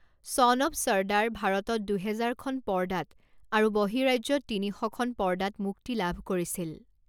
ছন of Sardaar ভাৰতত দুহেজাৰখন পৰ্দাত আৰু বহিঃৰাজ্যত তিনি শ খন পৰ্দাত মুক্তি লাভ কৰিছিল।